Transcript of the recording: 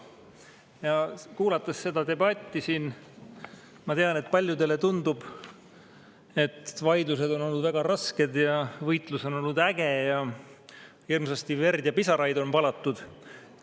Olles kuulanud seda debatti siin, ma tean, et paljudele tundub, nagu vaidlused oleksid olnud väga rasked ja võitlus oleks olnud äge ning hirmsasti verd ja pisaraid oleks valatud.